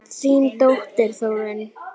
Þín dóttir, Þórunn.